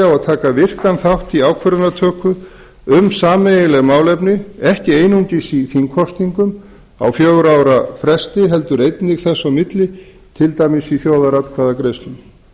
á að taka virkan þátt í ákvörðunartöku um sameiginleg málefni ekki einungis í þingkosningum á fjögurra ára fresti heldur einnig þess á milli til dæmis í þjóðaratkvæðagreiðslum